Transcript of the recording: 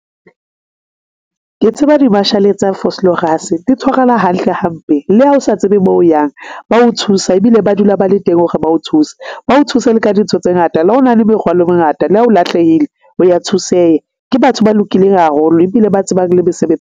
Ke tseba di-marshal-e tsa Vooslorus di tshwarana hantle hampe. Le ha o sa tsebe moo o yang. Ba o thusa ebile ba dula ba le teng hore ba o thusa, ba o thuse le ka dintho tse ngata la o na le merwalo e mengata le ha o lahlehile, o ya thuseha. Ke batho ba lokileng haholo ebile ba tsebang le mesebe.